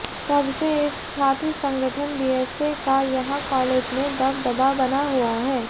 तबसे इस छात्र संगठन बीएसए का यहां कालेज में दबदबा बना हुआ है